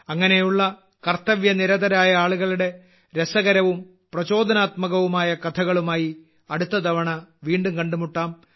അങ്ങനെയുള്ള കർത്തവ്യ നിരതരായ ആളുകളുടെ രസകരവും പ്രചോദനാത്മകവുമായ കഥകളുമായി അടുത്ത തവണ വീണ്ടും കണ്ടുമുട്ടാം